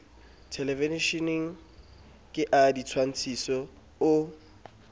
thelevisheneng ke a ditshwantshiso o